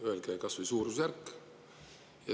Öelge kas või suurusjärk.